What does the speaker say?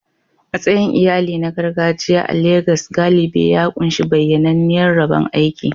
Matsayin iyali na gargajiya a Legas galibi ya ƙunshi bayyananniyar rabon aiki.